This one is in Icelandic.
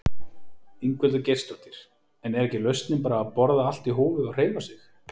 Ingveldur Geirsdóttir: En er ekki lausnin bara að borða allt í hófi og hreyfa sig?